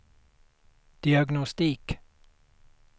diagnostik